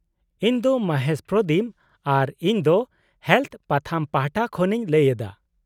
- ᱤᱧ ᱫᱚ ᱢᱚᱦᱮᱥ ᱯᱨᱚᱫᱤᱢ ᱟᱨ ᱤᱧ ᱫᱚ ᱦᱮᱞᱚᱛᱷ ᱯᱟᱛᱷᱟᱢ ᱯᱟᱦᱚᱴᱟ ᱠᱷᱚᱱᱤᱧ ᱞᱟᱹᱭ ᱮᱫᱟ᱾